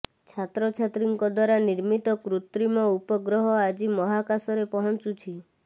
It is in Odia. ଛାତ୍ରଛାତ୍ରୀଙ୍କ ଦ୍ୱାରା ନିର୍ମିତ କୃତ୍ରିମ ଉପଗ୍ରହ ଆଜି ମହାକାଶରେ ପହଞ୍ଚୁଛି